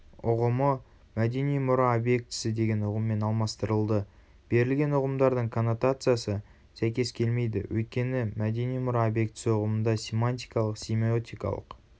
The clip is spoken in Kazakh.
ұғымы мәдени мұра обектісі деген ұғыммен алмастырылды.берілген ұғымдардың коннотациясы сәйкес келмейді өйткені мәдени мұра объектісі ұғымында семантикалық-семиотикалық